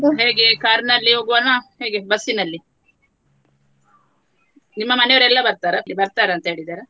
ಹೇಗೆ ಕಾರಲ್ಲಿ ಹೊಗುವನ ಹೇಗೆ ಬಸ್ನಲ್ಲಿ ಹೋಗುವನ ನಿಮ್ಮ ಮನೆಯವರೆಲ್ಲ ಬರ್ತಾರ ಬರ್ತಾರಂತ ಹೇಳಿದ್ದಾರ?